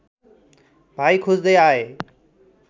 भाइ खोज्दै आए